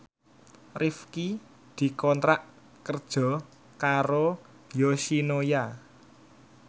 Rifqi dikontrak kerja karo Yoshinoya